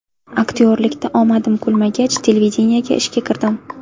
Aktyorlikda omadim kulmagach, televideniyega ishga kirdim.